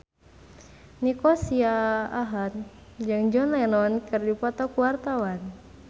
Nico Siahaan jeung John Lennon keur dipoto ku wartawan